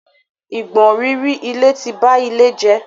Ìgbọ̀nrìrì ilẹ̀ ti ba ilẹ̀ jẹ́.